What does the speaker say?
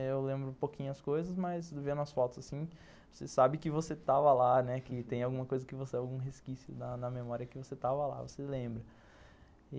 Eu lembro um pouquinho as coisas, mas vendo as fotos assim, você sabe que você estava lá, né, que tem alguma coisa, algum resquício na na memória que você estava lá, você lembra.